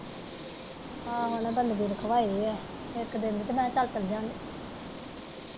ਆਹੋ ਉਹਨਾੇ ਬੰਦਗੀ ਰੱਖਵਾਈ ਆ ਇੱਕ ਦਿਨ ਦੀ ਮੈਂ ਚੱਲ ਚੱਲਜਾਗੀ।